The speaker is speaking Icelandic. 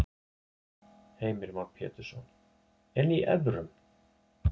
Heimir Már Pétursson: En í evrum?